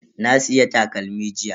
Na siya takalmi jiya.